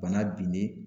Bana binnen